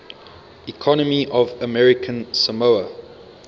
economy of american samoa